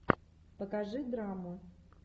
покажи драму